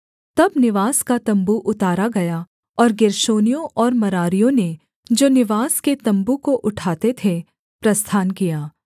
तब निवास का तम्बू उतारा गया और गेर्शोनियों और मरारियों ने जो निवास के तम्बू को उठाते थे प्रस्थान किया